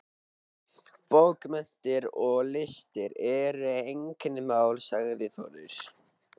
Bókmenntir og listir eru einkamál, sagði Þórður.